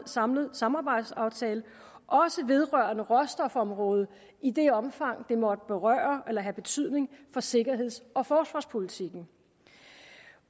samlet samarbejdsaftale også vedrørende råstofområdet i det omfang det måtte berøre eller have betydning for sikkerheds og forsvarspolitikken